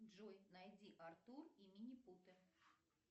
джой найди артур и минипуты